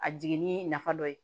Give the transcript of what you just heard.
A jiginni nafa dɔ ye